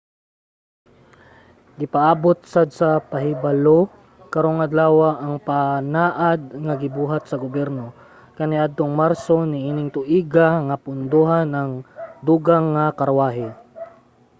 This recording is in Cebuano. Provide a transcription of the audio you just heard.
gipaabot sad sa pahibalo karong adlawa ang panaad nga gibuhat sa gobyerno kaniadtong marso niining tuiga nga pondohan ang dugang mga karwahe